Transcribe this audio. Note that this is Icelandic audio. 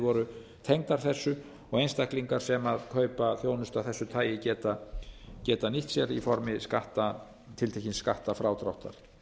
voru tengdar þessu og einstaklingar sem kaupa þjónustu af þessu tagi geta nýtt sér í formi tiltekins skattfrádráttar